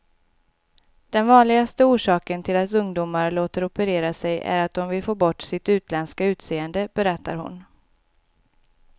Den vanligaste orsaken till att ungdomar låter operera sig är att de vill få bort sitt utländska utseende, berättar hon.